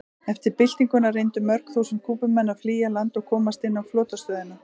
Eftir byltinguna reyndu mörg þúsund Kúbumenn að flýja land og komast inn á flotastöðina.